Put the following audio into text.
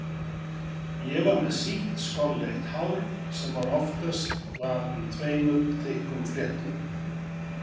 Ég var með sítt skolleitt hár sem oftast var í tveimur þykkum fléttum.